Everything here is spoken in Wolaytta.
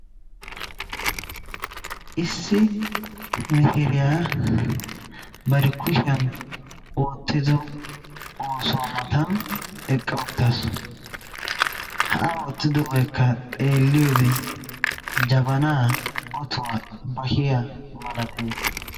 Issi mishshiriya bari kushiyan oottido oosuwa matan eqqa uttaasu ha a oottidobaykka, xeelliyode jabana, otuwa, bashiya, malates.